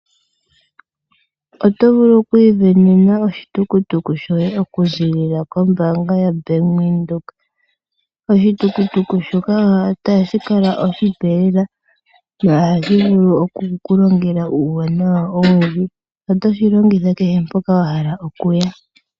Oto vulu, okwiivenena oshitukutuku shoye oku zilila kombanga ya Bank Windhoek, oshitukutuku oshina uuwanawa owundji shoka ohashi kala oshipe lela etoshi longitha kehe mpa wahala.